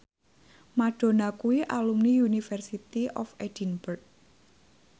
Madonna kuwi alumni University of Edinburgh